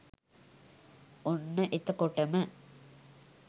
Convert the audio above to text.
ඔන්න එතකොටම